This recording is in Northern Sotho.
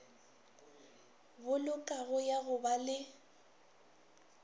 bolokago ya go ba le